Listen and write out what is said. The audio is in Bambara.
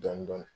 Dɔɔnin dɔɔnin